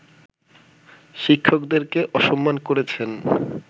শিক্ষকদেরকে অসম্মান করেছেন